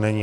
Není.